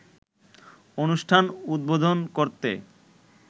অনুষ্ঠান উদ্বোধন করতে